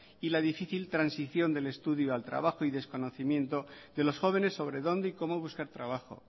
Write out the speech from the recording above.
y la difícil transición del estudio al trabajo y desconocimiento de los jóvenes sobre dónde y cómo buscar trabajo